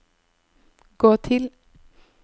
gå til